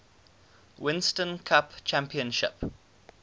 winston cup championship